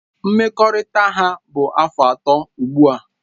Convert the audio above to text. Mkpakọrịta ha bụ afọ atọ ugbu a